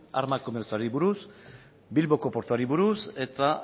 arma komertzioari buruz bilboko portuari buruz eta